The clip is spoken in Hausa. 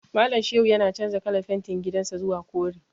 Malam Shehu yana canza kalar fentin gidan sa zuwa kore.